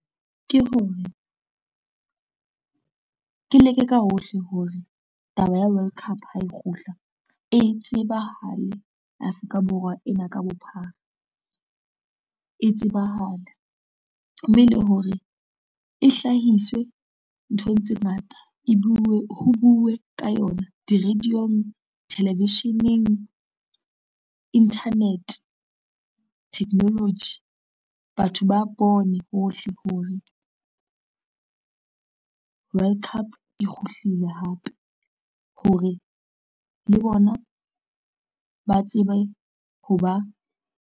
Ke hore, ke leke ka hohle hore taba ya World Cup ha e kgutla e tsebahale Afrika Borwa ena ka bophara, e tsebahale. Mme le hore e hlahiswe nthong tse ngata ho bue ka yona di-radio-ng, television-eng, internet, technology. Batho ba bone hohle hore, World Cup e kgutlile hape hore le bona ba tsebe ho ba.